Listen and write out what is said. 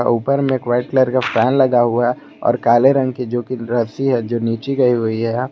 ऊपर में एक व्हाइट कलर का फैन लगा हुआ और काले रंग की जो कि रस्सी है जो नीचे गई हुई है।